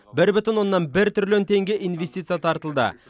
бір бүтін оннан бір триллион теңге инвестиция тартылды